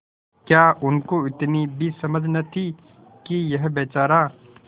क्या उनको इतनी भी समझ न थी कि यह बेचारा